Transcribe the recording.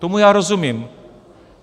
Tomu já rozumím.